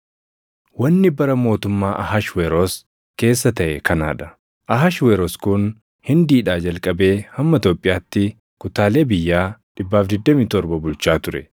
Wanni bara mootummaa Ahashweroos keessa taʼe kanaa dha: Ahashweroos kun Hindiidhaa jalqabee hamma Itoophiyaatti kutaalee biyyaa 127 bulchaa ture;